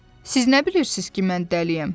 Siz nə bilirsiz ki, mən dəliyəm,